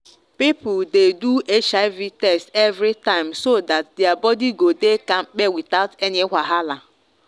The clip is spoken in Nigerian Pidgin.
people dey do hiv test every time so that their body go dey kampe without any wahala.